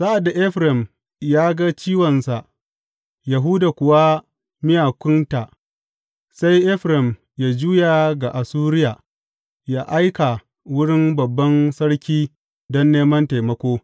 Sa’ad da Efraim ya ga ciwonsa, Yahuda kuwa miyakunta, sai Efraim ya juya ga Assuriya, ya aika wurin babban sarki don neman taimako.